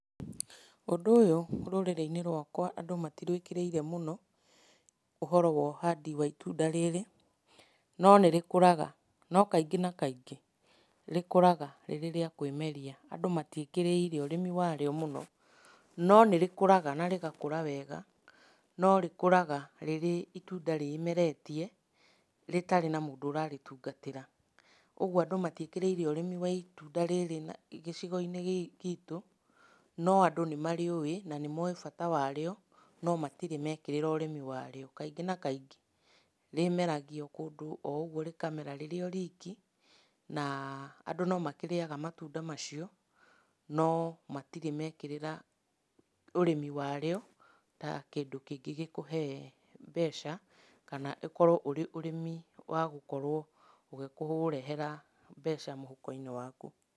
Ũndũ ũyũ rũrĩrĩ-inĩ rwakwa andũ matirwĩkĩrĩirĩ mũno, ũhoro wa ũhandi wa itunda rĩrĩ, no nĩrĩkũraga. No kaingĩ na kaingĩ rĩkũraga rĩrĩ rĩa kwĩmeria, andũ matiĩkĩrĩire ũrĩmi warĩo mũno, no nĩrĩkũraga na rĩgakũra wega, no rĩkũraga rĩrĩ itunda rĩmeretie rĩtarĩ na mũndũ ũrarĩtungatĩra. Ũguo andũ matiĩkĩrĩire ũrĩmi wa itunda rĩrĩ gĩcigo-inĩ gĩkĩ gitũ, no andũ nĩmarĩũe na nĩ mowĩ bata warĩo, no matirĩ mekĩrĩra ũrĩmi warĩo. Kaingĩ na kaingĩ rĩmeragia o kũndũ oũguo, rĩkamera rĩrĩ riki na andũ no marĩyaga matunda macio, no matirĩ mekĩrĩra ũrĩmi warĩo, ta kĩndũ kĩngĩgĩkũhe mbeca kana ũkorwo ũrĩ ũrĩmi wa gũkorwo ũgĩkũrehera mbeca mũhuko-inĩ waku .